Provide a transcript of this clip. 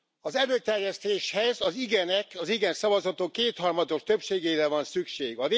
Az előterjesztéshez az igenek, az igen szavazatok kétharmados többségére van szükség.